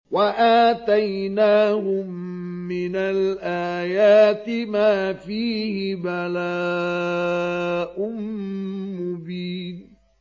وَآتَيْنَاهُم مِّنَ الْآيَاتِ مَا فِيهِ بَلَاءٌ مُّبِينٌ